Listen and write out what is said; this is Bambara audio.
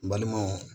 N balimaw